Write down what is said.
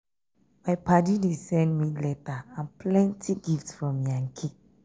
my paddy dey send me letter and plenty gift from yankee.